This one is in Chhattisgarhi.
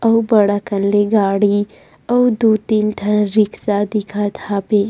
अउ बड़ अकन ले गाड़ी अउ दू तीन ठ रिक्शा दिखत हावे।